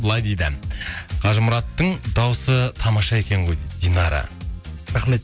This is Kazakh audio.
былай дейді қажымұраттың дауысы тамаша екен ғой дейді динара рахмет